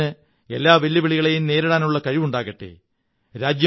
രാജ്യത്തിന് എല്ലാ വെല്ലുവിളികളെയും നേരിടാനുള്ള കഴിവുണ്ടാകട്ടെ